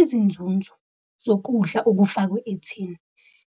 Izinzunzo zokudla okufakwe ethini,